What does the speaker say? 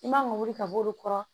I man ka wuli ka b'olu kɔrɔ